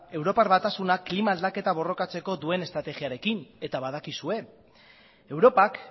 europar batasunak klima aldatzeko borrokatzeko duen estrategiarekin eta badakizue europak